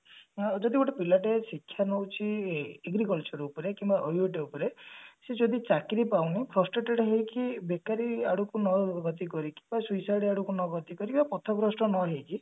ହଁ ଯଦି ଗୋଟେ ପିଲାଟେ ଶିକ୍ଷା ନଉଛି agriculture ଉପରେ କିମ୍ବା OUUT ଉପରେ ସେ ଯଦି ଚାକିରି ପାଉନି flustered ହେଇକି ବେକାରି ଆଡକୁ ନ ଗତି କରିକି ବା suicide ଆଡକୁ ନ ଗତି କରିକି ବା ପଥ ଗ୍ରସ୍ତ ନ ହେଇକି